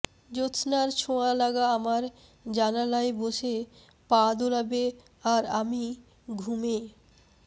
জ্যোৎস্নার ছোঁয়া লাগা আমার জানালায় বসে পা দোলাবে আর আমি ঘুমে